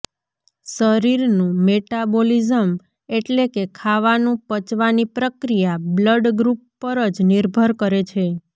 શરીરનું મેટાબોલિઝ્મ એટલે કે ખાવાનું પચવાની પ્રક્રિયા બ્લડ ગ્રુપ પર જ નિર્ભર કરે છે